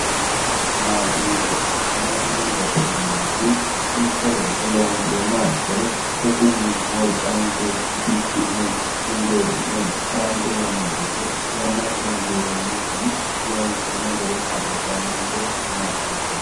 maashinubba maashinubbate yineemmoti mitto looso loonseemmoha ikkiro shotunni wolqanke bikki'ne injeessi'ne harancho yanna goddo yannankeno giirrummokkinni loonseemmo gede kaa'litanonke maashine.